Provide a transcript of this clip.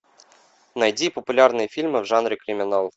найди популярные фильмы в жанре криминал